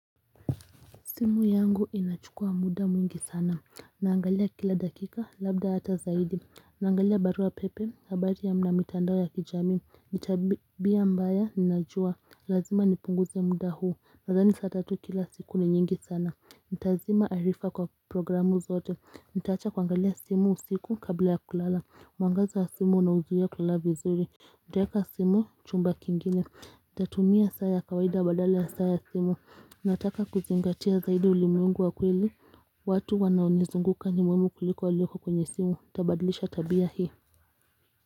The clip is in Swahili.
Simu yangu inachukua muda mwingi sana Naangalia kila dakika labda hata zaidi Naangalia barua pepe habari ya na mitandao ya kijamii ni tabia mbaya ninajua Lazima nipunguze muda huu Nadhani saa tatu kila siku ni nyingi sana Ntazima arifa kwa programu zote Nitaacha kuangalia simu usiku kabla ya kulala mwangaza wa simu nauzuia kulala vizuri Ntaeka simu chumba kingine Nitatumia saa ya kawaida badala ya saa ya simu Nataka kuzingatia zaidi ulimwengu wa kweli, watu wanaonizunguka ni muhimu kuliko walioko kwenye simu, ntabadlisha tabia hio.